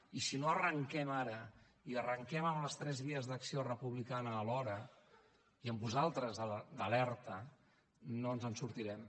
i si no arranquem ara i arranquem amb les tres vies d’acció republicana a l’hora i amb vosaltres d’alerta no ens en sortirem